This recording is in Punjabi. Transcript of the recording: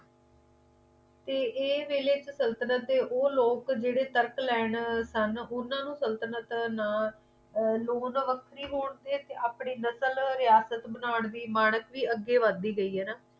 ਤੇ ਏਹ ਵੇਲੇ ਸੰਤਤਲਣ ਦੇ ਉਹ ਲੋਕ ਜੇੜੇ ਤਰਕ ਲੈਣ ਸਨ ਉਨ੍ਹਾਂ ਨੂੰ ਸੰਤਤਲਣ ਨਾ ਲੂਣ ਵੱਖਰੀ ਹੋਣ ਤੇ ਆਪਣੀ ਨਸਲ ਰਿਆਸਤ ਬਣ ਦੀ ਮਾਨਤ ਅੱਗੇ ਵੀ ਵੱਧਦੀ ਗਈ